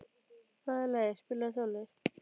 Valey, spilaðu tónlist.